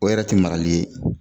O yɛrɛ ti marali ye